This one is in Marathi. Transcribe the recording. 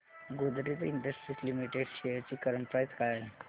गोदरेज इंडस्ट्रीज लिमिटेड शेअर्स ची करंट प्राइस काय आहे